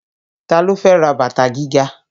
Ta ló fẹ́ ra bàtà gíga?